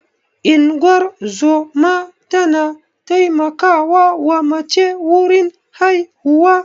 Ingozuma ta na taimakawa wa mace wurin haihuwa.